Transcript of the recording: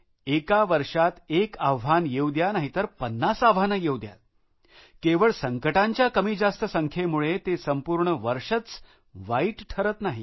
एका वर्षात एक आव्हान येऊ द्या नाहीतर पन्नास आव्हानं येऊ द्या केवळ संकटांच्या कमीजास्त संख्येमुळे ते संपूर्ण वर्षच वाईट ठरत नाही